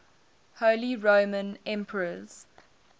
holy roman emperors